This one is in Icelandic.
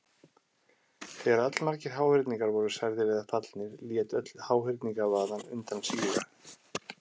Þegar allmargir háhyrningar voru særðir eða fallnir lét öll háhyrningavaðan undan síga.